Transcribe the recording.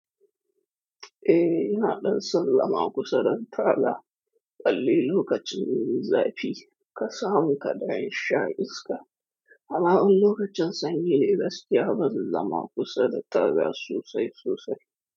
Eh, ina ɗan son lama kusa da talaka. Balli lokacin zafi ka samu kaɗaish sha iska. Amma in lokacin sanyi, gaskiya ban zama kusa da taga sosai sosai.